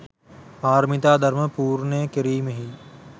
පාරමිතා ධර්ම පූර්ණය කිරීමෙහි